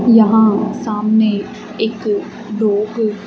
यहां सामने एक क --